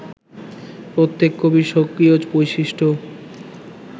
প্রত্যেক কবির স্বকীয় বৈশিষ্ঠ্য